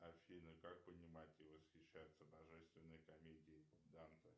афина как понимать и восхищаться божественной комедией данте